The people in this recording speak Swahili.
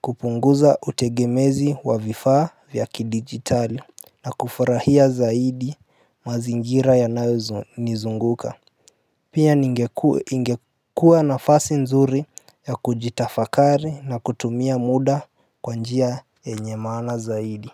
kupunguza utegemezi wa vifaa vya kidigitali na kufurahia zaidi mazingira yanayonizunguka Pia ingekuwa nafasi nzuri ya kujitafakari na kutumia muda kwa njia yenye maana zaidi.